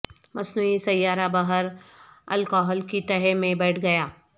مصنوعی سیارہ بحر الکاہل کی تہہ میں بیٹھ گیا